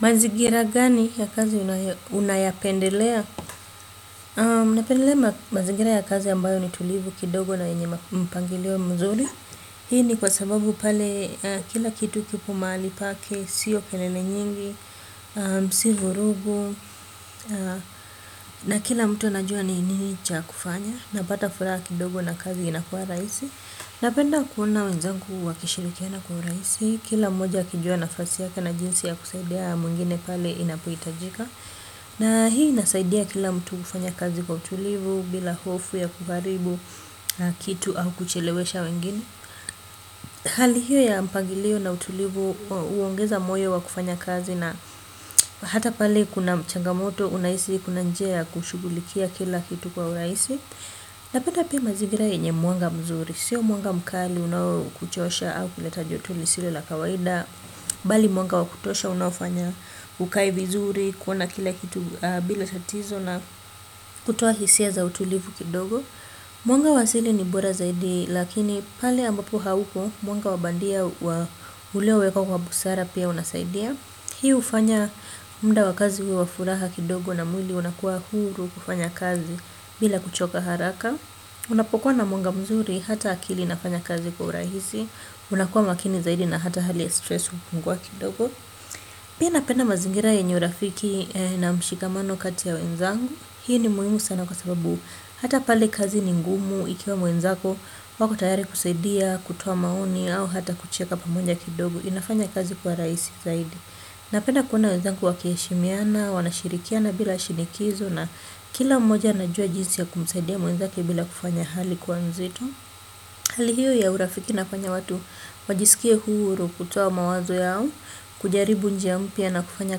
Mazingira gani ya kazi unayapendelea? Napendelea mazingira ya kazi ambayo ni tulivu kidogo na yenye mpangilio mzuri. Hii ni kwa sababu pale kila kitu kipo mahali pake, sio kelele nyingi, si vurugu, na kila mtu anajua ni nini cha kufanya. Napata furaha kidogo na kazi inakuwa rahisi. Napenda kuona wenzangu wakishirikiana kwa urahisi, kila mmoja akijua nafasi yake na jinsi ya kusaidiana na mwingine pale inapohitajika. Na hii inasaidia kila mtu kufanya kazi kwa utulivu, bila hofu ya kuharibu kitu au kuchelewesha wengine. Hali hiyo ya mpangilio na utulivu huongeza moyo wa kufanya kazi na hata pale kuna m changamoto unahisi kuna njia ya kushughulikia kila kitu kwa urahisi. Napenda pia mazingira yenye mwanga mzuri sio mwanga mkali unaokuchosha au kuleta joto lisilo la kawaida bali mwanga wa kutosha unaofanya ukae vizuri kuona kila kitu bila tatizo na kutoa hisia za utulivu kidogo. Mwanga wa asili ni bora zaidi lakini pale ambapo hauko mwanga wa bandia uliowekwa kwa busara pia unasaidia. Hii hufanya muda wa kazi uwe wa furaha kidogo na mwili unakuwa huru kufanya kazi bila kuchoka haraka. Unapokuwa na mwanga mzuri hata akili inafanya kazi kwa urahisi, unakuwa makini zaidi na hata hali ya stress hupungua kidogo. Pia napenda mazingira yenye urafiki na mshikamano kati ya wenzangu. Hii ni muhimu sana kwa sababu hata pale kazi ni ngumu ikiwa mwenzako wako tayari kusaidia kutoa maoni au hata kucheka pamoja kidogo. Inafanya kazi kuwa urahisi zaidi. Napenda kuona wenzangu wakiheshimiana, wanashirikiana bila shinikizo na kila mmoja anajua jinsi ya kumsaidia mwenzake bila kufanya hali kuwa nzito. Hali hiyo ya urafiki inafanya watu wajisikie huru kutoa mawazo yao, kujaribu njia mpya na kufanya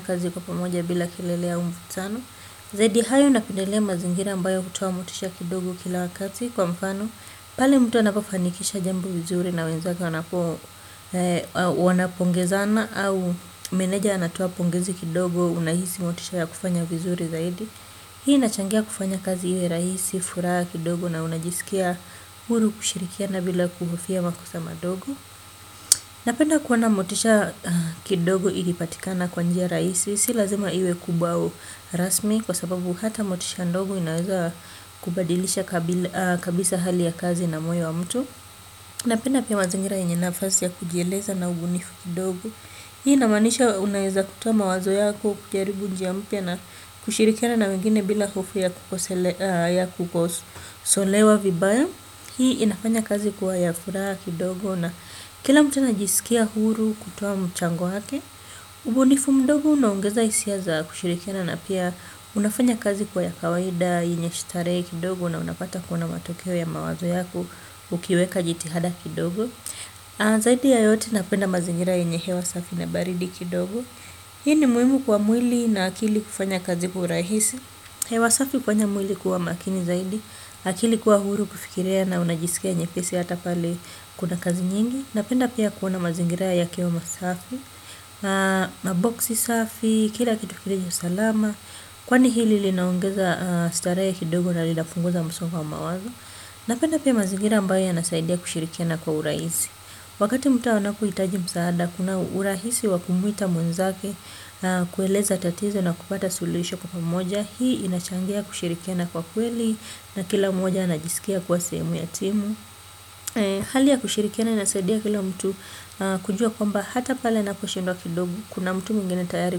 kazi kwa pamoja bila kilele au mvutano. Zaidi ya hayo napendelea mazingira ambayo hutoa motisha kidogo kila wakati kwa mfano, pale mtu anapofanikisha jambo vizuri na wenzake wanapo wanapongezana au meneja anatoa pongezi kidogo unahisi motisha ya kufanya vizuri zaidi. Hii inachangia kufanya kazi iwe rahisi, furaha kidogo na unajisikia huru kushirikiana bila kuhofia makosa madogo. Napenda kuona motisha kidogo ikipatikana kwa njia rahisi, si lazima iwe kubwa au rasmi kwa sababu hata motisha ndogo inaeza kubadilisha kabisa hali ya kazi na moyo wa mtu. Napenda pia mazingira yenye nafasi ya kujieleza na ubunifu kidogo. Hii inamaanisha unaeza kutoa mawazo yako ukijaribu njia mpya na kushirikiana na wengine bila hofu ya kukosolewa vibaya. Hii inafanya kazi kuwa ya furaha kidogo na kila mtu anajisikia huru kutoa mchango wake. Ubunifu mdogo unaongeza hisia za kushirikiana na pia unafanya kazi kuwa ya kawaida yenye starehe kidogo na unapata kuna matokeo ya mawazo yako ukiweka jitihada kidogo. Zaidi ya yote napenda mazingira yenye hewa safi na baridi kidogo. Hii ni muhimu kwa mwili na akili kufanya kazi kwa urahisi. Hewa safi hufanya mwili kuwa makini zaidi, akili kuwa huru kufikiria na unajisikia nyepesi hata pale kuna kazi nyingi. Napenda pia kuona mazingira yakiwa masafi na maboksi safi, kila kitu kilivyo salama. Kwani hili linaongeza starehe kidogo na linapunguza msongo wa mawazo. Napenda pia mazingira ambayo yanasaidia kushirikiana kwa urahisi. Wakati mtu anapohitaji msaada, kuna urahisi wa kumuita mwenzake na kueleza tatizo na kupata suluhisho kwa pamoja. Hii inachangia kushirikiana kwa kweli na kila mmoja anajisikia kuwa sehemu ya timu. Hali ya kushirikiana inasaidia kila mtu kujua kwamba hata pale anaposhindwa kidogo. Kuna mtu mwingine tayari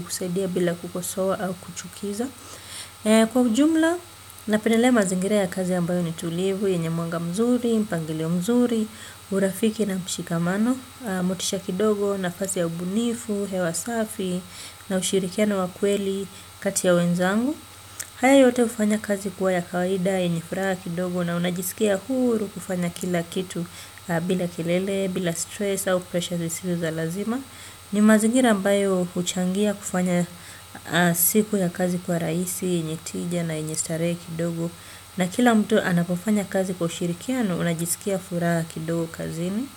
kusaidia bila kukosoa au kuchukiza. Kwa ujumla, napendelea mazingira ya kazi ambayo ni tulivu, yenye mwanga mzuri, mpangilio mzuri, urafiki na mshikamano, motisha kidogo na kazi ya ubunifu, hewa safi na ushirikiano wa kweli kati ya wenzangu. Haya yote hufanya kazi kuwa ya kawaida, yenye furaha kidogo na unajisikia huru kufanya kila kitu bila kelele, bila stress au pressure zisizo za lazima. Ni mazingira ambayo huchangia kufanya siku ya kazi kuwa rahisi, yenye tija na yenye starehe kidogo. Na kila mtu anapofanya kazi kwa ushirikiano unajisikia furaha kidogo kazini.